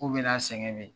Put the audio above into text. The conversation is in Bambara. K'u bɛna a sɛgɛn de